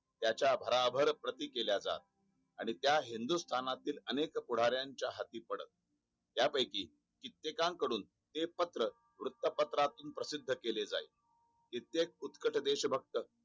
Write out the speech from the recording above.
त्याच्या भराभर प्रति केल्या जात आणि त्या हिंदुस्थातील अनेक पुढार्त्यांच्या हाती. पडत त्या पैकी कित्त्यांकडून ते पत्र वृत्तपत्रातून प्रसिद्ध केले जाई कित्येक उटकत देशभक्त